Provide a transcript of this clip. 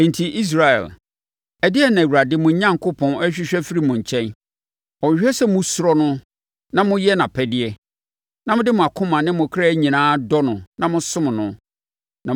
Enti Israel, ɛdeɛn na Awurade, mo Onyankopɔn, hwehwɛ afiri mo nkyɛn? Ɔhwehwɛ sɛ mosuro no na moyɛ nʼapɛdeɛ, na mode mo akoma ne mo kra nyinaa dɔ no na mosom no,